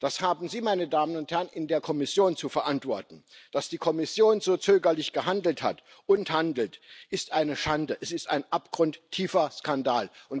Das haben Sie, meine Damen und Herren in der Kommission, zu verantworten. Dass die Kommission so zögerlich gehandelt hat und handelt, ist eine Schande, es ist ein abgrundtiefer Skandal.